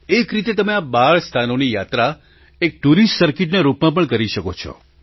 એક રીતે તમે આ બાર સ્થાનોની યાત્રા એક ટુરિસ્ટ સર્કિટના રૂપમાં પણ કરી શકો છો